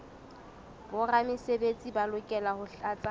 boramesebetsi ba lokela ho tlatsa